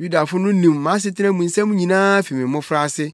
“Yudafo no nim mʼasetena mu nsɛm nyinaa fi me mmofraase.